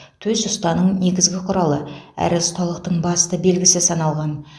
төс ұстаның негізгі құралы әрі ұсталықтың басты белгісі саналған